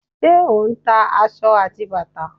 Ṣé o ń ta aṣọ àti bàtà?